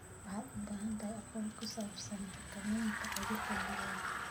Waxaad u baahan tahay aqoon ku saabsan xakamaynta cudurka digaagga.